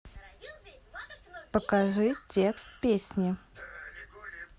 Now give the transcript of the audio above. покажи текст песни